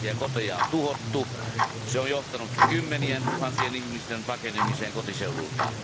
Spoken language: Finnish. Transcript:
Tuhansia koteja on tuhottu, se on johtanut kymmenien tuhansien ihmisten pakenemiseen kotiseudultaan.